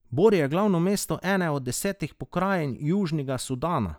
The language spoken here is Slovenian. Bor je glavno mesto ene od desetih pokrajin Južnega Sudana.